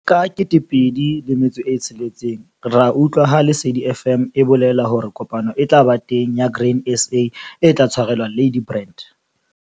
Ka 2006 a utlwa ha Lesedi FM e bolela hore kopano e tla ba teng ya Grain SA e tla tshwarelwa Ladybrand.